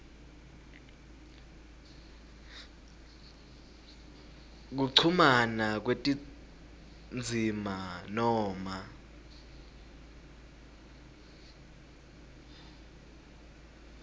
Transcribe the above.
kuchumana kwetindzima noma